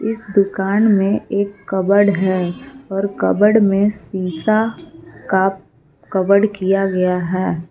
इस दुकान में एक कपबोर्ड है और कपबोर्ड में शीशा का कवर किया गया है।